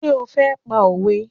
Ṣé o fẹ́ pa òwe?